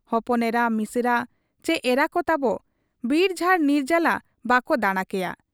ᱦᱚᱯᱚᱱ ᱮᱨᱟ, ᱢᱤᱥᱮᱨᱟ ᱪᱤ ᱮᱨᱟᱠᱚ ᱛᱟᱵᱚ ᱵᱤᱨᱡᱷᱟᱲ ᱱᱤᱨᱡᱟᱞᱟ ᱵᱟᱠᱚ ᱫᱟᱬᱟ ᱠᱮᱭᱟ ᱾